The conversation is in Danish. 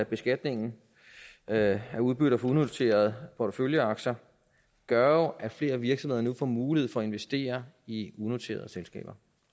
beskatningen af udbytter for unoterede porteføljeaktier gør at flere virksomheder nu får mulighed for at investere i unoterede selskaber